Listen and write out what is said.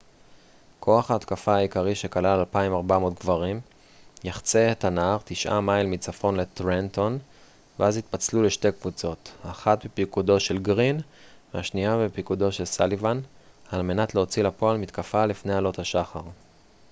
כוח ההתקפה העיקרי שכלל 2,400 גברים יחצה את הנהר תשעה מייל מצפון לטרנטון ואז יתפצלו לשתי קבוצות אחת בפיקודו של גרין והשנייה בפיקודו של סאליבן על מנת להוציא לפועל מתקפה לפני עלות השחר